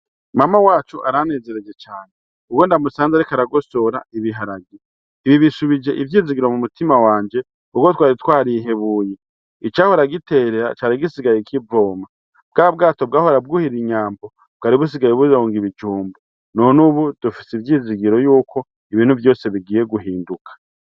Mama wacu aranezereje cane ubwo ndamusanze ariko aragosora ibiharagi. Ibi bisubije ivyizigiro mu mutima wanje kuko twari twarihebuye, icahora giterera cari gisigaye kivoma. Bwa bwato bwahora bwuhira inyambo bwari busigaye buronga ibijumbu. None ubu dufise ivyizigiro yuko ibintu vyose bigiye guhinduka.